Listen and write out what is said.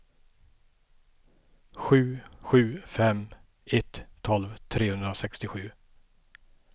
sju sju fem ett tolv trehundrasextiosju